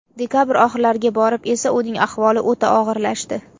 Dekabr oxirlariga borib esa uning ahvoli o‘ta og‘irlashdi.